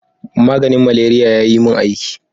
Maganin malaria ya yi mun aiki.